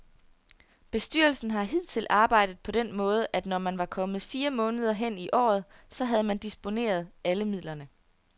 Bestyrelsen har hidtil arbejdet på den måde, at når man var kommet fire måneder hen i året, så havde man disponeret alle midlerne.